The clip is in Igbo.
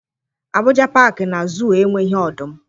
Abụja Pakị na Zuu enweghị ọdụm.